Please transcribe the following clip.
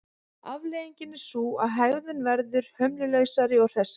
Afleiðingin er sú að hegðun verður hömlulausari og hressari.